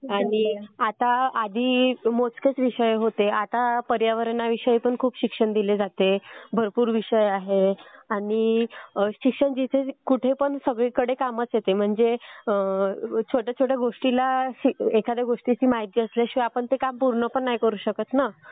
आधी मोजकेच विषय होते आता पर्यावरणविषयातही खूप शिक्षण दिलं जातं. भरपूर विषय आहेत. आणि शिक्षण कुठेही कामास येतं म्हणजे छोट्या छोट्या गोष्टीला म्हणजे एखाद्या गोष्टीची माहिती असल्याशिवाय आपण ते काम पूर्ण पण करू शकत नाही ना.